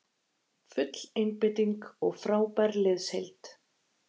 Full einbeiting og frábær liðsheild